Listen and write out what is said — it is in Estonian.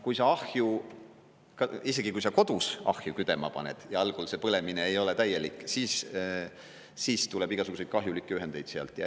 Isegi kui sa kodus ahju küdema paned – ja algul see põlemine ei ole täielik–, siis tuleb igasuguseid kahjulikke ühendeid sealt.